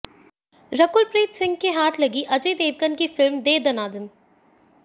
रकुल प्रीत सिंह के हाथ लगी अजय देवगन की फिल्म दे दना दन